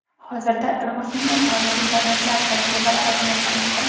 Hozirda rivojlangan xorijiy davlatlar tajribalari o‘rganilmoqda.